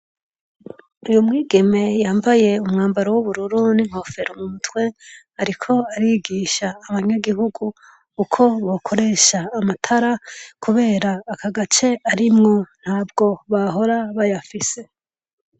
Umwigeme yambaye umwambaro w'ubururu n'inkofero kumutwe isa n'umuhondo ariko arigisha Abanyagihugu uko bokoresha amatara kubera aka gace arimwo ntabwo bahora bayafise .